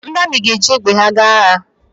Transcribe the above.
Ndị amị ga-eji egbe ha eje agha